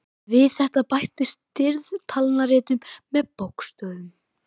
Við þetta bættist stirð talnaritun með bókstöfum.